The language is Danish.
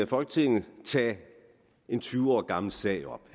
folketinget tage en tyve år gammel sag op